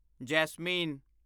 Jasmine